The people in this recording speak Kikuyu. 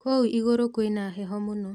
Kũu igũrũ kwĩna heho mũno